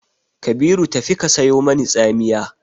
Kabiru tafi ka sayo mani tsamiya!